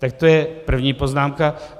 Tak to je první poznámka.